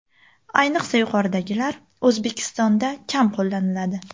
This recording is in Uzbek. Ayniqsa yuqoridagilar O‘zbekistonda kam qo‘llaniladi.